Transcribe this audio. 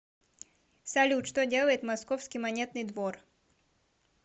салют что делает московский монетный двор